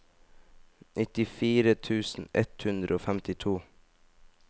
nittifire tusen ett hundre og femtito